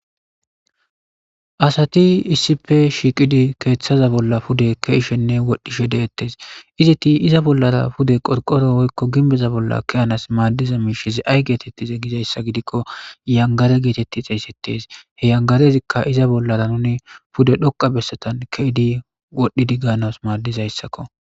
Asati isipe shiiqidi keeththaza bolla pude keishenne wodhdhishe deettes izeti iza bollara pude qorqoro woykko ginbeza bolla keyanas maaddiza miishize ay geetettize gizayssa gidikko yangare geetetti xeeysettes he yangarezikka iza bollara nune pude dhoqa bessatan ke7ydi wodhdhidi gaanas maaddizayssakko